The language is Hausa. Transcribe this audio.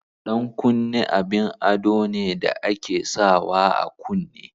Ɗan kunne abin ado ne da ake sawa a kunne.